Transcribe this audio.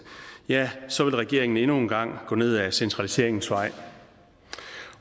ja så vil regeringen endnu en gang gå ned ad centraliseringens vej